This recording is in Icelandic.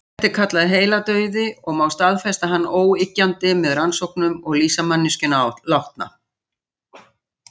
Þetta er kallað heiladauði og má staðfesta hann óyggjandi með rannsóknum og lýsa manneskjuna látna.